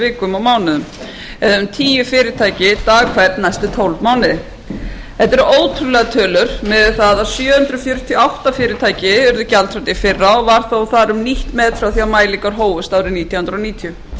vikum og mánuðum um tíu fyrirtæki dag hvern næstu tólf mánuði þetta eru ótrúlegar tölur miðað við það að sjö hundruð fjörutíu og átta fyrirtæki urðu gjaldþrota í fyrra og var þar þó um nýtt met frá því að mælingar hófust árið nítján hundruð níutíu hvað